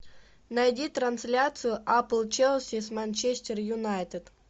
найди трансляцию апл челси с манчестер юнайтед